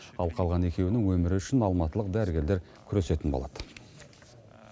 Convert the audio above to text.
ал қалған екеуінің өмірі үшін алматылық дәрігерлер күресетін болады